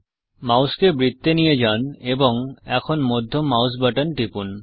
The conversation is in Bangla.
মাউসকে বৃত্তে নিয়ে যান এবং এখন মধ্যম মাউস বাটন টিপুন